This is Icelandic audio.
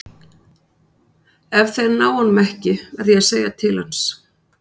Ef þeir ná honum ekki verð ég að segja til hans.